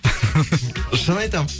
шын айтамын